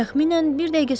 Təxminən bir dəqiqə sonra.